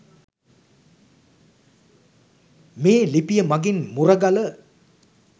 මේ ලිපිය මගින් මුරගල